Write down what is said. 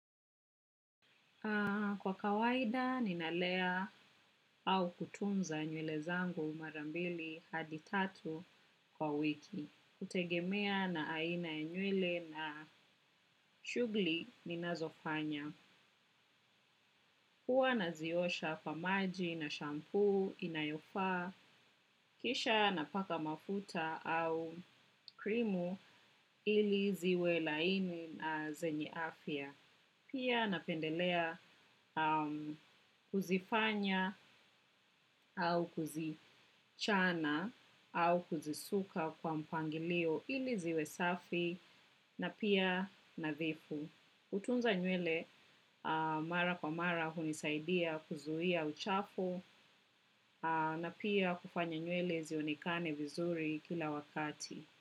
Kwa kawaida, ninalea au kutunza nywele zangu marambili hadi tatu kwa wiki. Hutegemea na aina ya nywele na shughli, ninazofanya. Hua naziosha kwa maji na shampoo inayofaa. Kisha, napaka mafuta au krimu ili ziwe laini na zenye afya. Pia, napendelea kuzifanya au kuzichana au kuzisuka kwa mpangilio, ili ziwe safi na pia, nadhifu. Utunza nywele, mara kwa mara, hunisaidia kuzuhia uchafu na pia kufanya nyuele zionikane vizuri kila wakati.